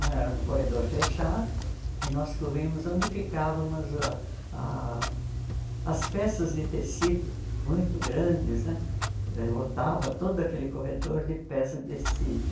Era um corredor fechado e nós corríamos onde ficavam as ah as peças de tecido muito grandes né, lotava todo aquele corredor de peças de tecido.